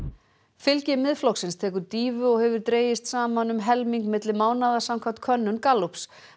fylgi Miðflokksins tekur dýfu og hefur dregist saman um helming milli mánaða samkvæmt könnun Gallups